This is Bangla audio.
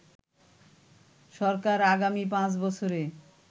সরকার আগামী ৫ বছরে